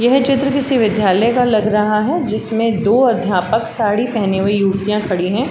यह चित्र किसी विद्यालय का लग रहा है। जिसमें दो अध्यापक साड़ी पहनी हुई युक्तियाँ खड़ी हैं।